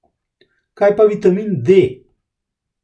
Kaj pa vitamin D?